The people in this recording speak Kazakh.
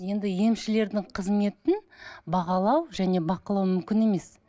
енді емшілердің қызметін бағалау және бақылау мүмкін емес